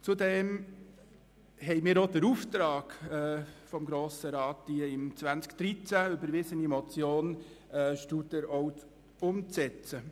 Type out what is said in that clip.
Zudem haben wir auch den Auftrag, die im Jahr 2013 überwiesen Motion Studer umzusetzen.